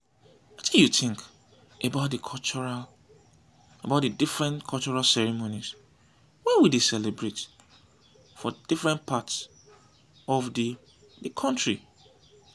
wetin you think about di different cultural ceremonies wey we dey celebrate for different part of di di country?